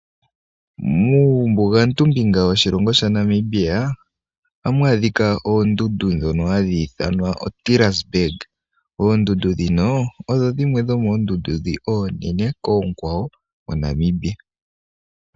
Muumbugantu mbinga woshilongo sha Namibia, ohamu adhika oondundu ndhono hadhi ithanwa oTirasberge. Oondundu ndhino odho dhiwe dhomoondundu dhi oonene koonkwawo moNamibia.